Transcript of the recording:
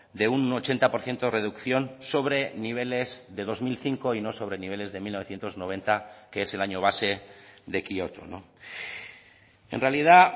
de un ochenta por ciento de reducción sobre niveles de dos mil cinco y no sobre niveles de mil novecientos noventa que es el año base de kioto en realidad